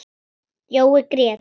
Jói grét.